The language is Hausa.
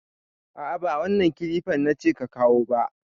A'a ba wannan kilifar nace ka kawo ba.